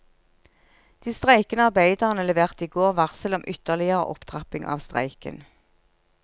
De streikende arbeiderne leverte i går varsel om ytterligere opptrapping av streiken.